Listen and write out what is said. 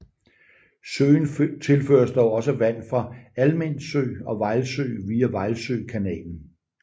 Søen tilføres dog også vand fra Almind Sø og Vejlsø via Vejlsø kanalen